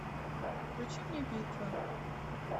включи мне битва